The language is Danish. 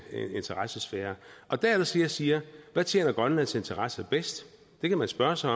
interessesfære der er det så jeg siger hvad tjener grønlands interesser bedst det kan man spørge sig